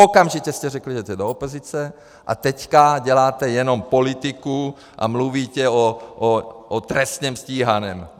Okamžitě jste řekli, že jdete do opozice, a teďka děláte jenom politiku a mluvíte o trestně stíhaném.